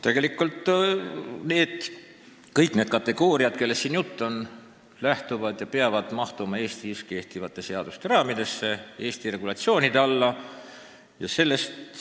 Tegelikult peavad kõik need kategooriad, kellest siin juttu on, mahtuma Eestis kehtivate seaduste raamidesse, Eesti regulatsioonide alla.